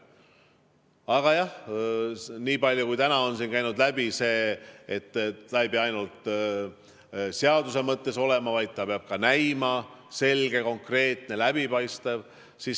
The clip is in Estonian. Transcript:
Aga jah, täna on siin käinud läbi see, et ta ei pea ainult seaduse mõttes olema, vaid ta peab ka näima selge, konkreetne, läbipaistev.